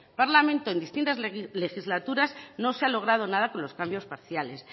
parlamento en distintas legislaturas no se ha logrado nada con los cambios parciales